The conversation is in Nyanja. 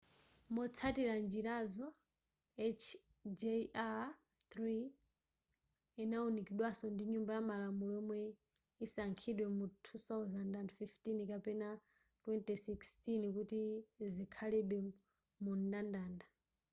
motsatira njirazo hjr-3 izawunikidwaso ndi nyumba yamalamulo yomwe isankhidwe mu 2015 kapena 2016 kuti zikhalebe mumndandanda